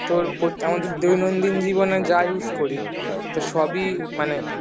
তোর আমাদের দৈনন্দিন জীবনে যাই use করি তো সবই মানে